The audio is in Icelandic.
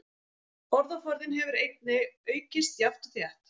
Orðaforðinn hefur einnig aukist jafnt og þétt.